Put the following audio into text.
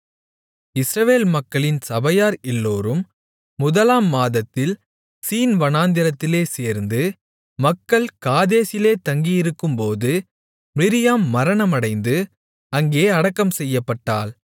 இஸ்ரவேல் மக்களின் சபையார் எல்லோரும் முதலாம் மாதத்தில் சீன்வனாந்திரத்திலே சேர்ந்து மக்கள் காதேசிலே தங்கியிருக்கும்போது மிரியாம் மரணமடைந்து அங்கே அடக்கம்செய்யப்பட்டாள்